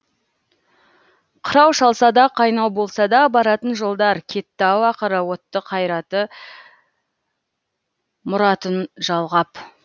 қырау шалса да қайнау болса да баратын жолдар кетті ау ақыры отты қайраты мұратын жалғап